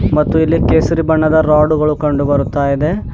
ಮತ್ತು ಇಲ್ಲಿ ಕೇಸರಿ ಬಣ್ಣದ ರಾಡುಗಳು ಕಂಡು ಬರುತ್ತ ಇದೆ.